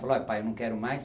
Falou, ai pai, num quero mais.